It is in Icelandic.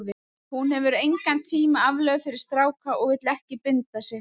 Hún hefur engan tíma aflögu fyrir stráka og vill ekki binda sig.